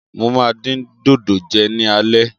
Mo máa dín dòdò jẹ ní alẹ́.